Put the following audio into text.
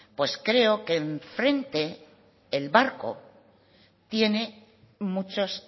pues creo que enfrente el barco tiene muchas